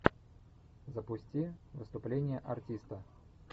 запусти выступление артиста